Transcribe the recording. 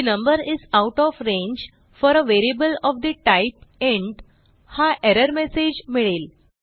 the number is out of range for a variable of the type int हा error message मिळेल